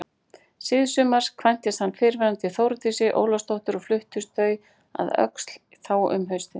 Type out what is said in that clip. Síðsumars kvæntist hann fyrrnefndri Þórdísi Ólafsdóttur og fluttust þau að Öxl þá um haustið.